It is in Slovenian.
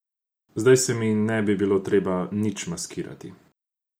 Zdaj se mi ne bi bilo treba nič maskirati.